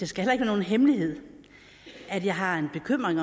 skal være nogen hemmelighed at jeg har en bekymring